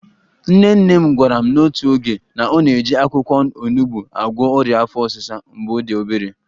/Nne nne m gwara m n'otu oge na ọ na-eji akwụkwọ onugbo agwọ ọrịa afọ ọsịsa mgbe ọ dị obere